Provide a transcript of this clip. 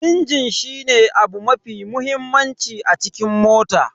Injin shine abu mafi mahimmanci a cikin mota.